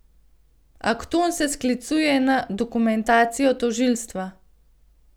Akton se sklicuje na dokumentacijo tožilstva.